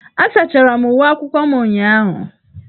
Asachara m uwe akwụkwọ m ụnyahụ.